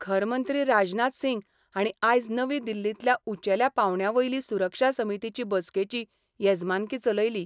घरमंत्री राजनाथ सिंग हांणी आयज नवी दिल्लींतल्या उंचेल्या पांवड्या वयली सुरक्षा समितीची बसकेची येजमानकी चलयली.